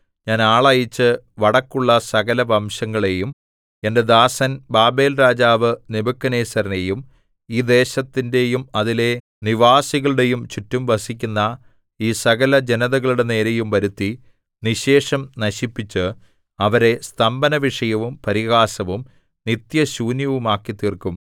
ഞാൻ ആളയച്ച് വടക്കുള്ള സകലവംശങ്ങളെയും എന്റെ ദാസൻ ബാബേൽരാജാവ് നെബൂഖദ്നേസരിനെയും ഈ ദേശത്തിന്റെയും അതിലെ നിവാസികളുടെയും ചുറ്റും വസിക്കുന്ന ഈ സകലജനതകളുടെ നേരെയും വരുത്തി നിശ്ശേഷം നശിപ്പിച്ച് അവരെ സ്തംഭനവിഷയവും പരിഹാസവും നിത്യശൂന്യവുമാക്കിത്തീർക്കും